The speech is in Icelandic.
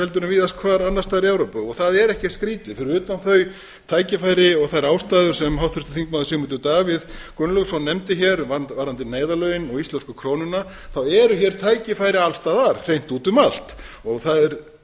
heldur en víðast hvar annars staðar í evrópu og það er ekkert skrýtið fyrir utan þau tækifæri og þær ástæður sem háttvirtur þingmaður sigmundur davíð gunnlaugsson nefndi varðandi neyðarlögin og íslensku krónuna þá eru hér tækifæri alls staðar hreint úti um allt og það er